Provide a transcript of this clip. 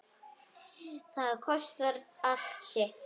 Það kostar allt sitt.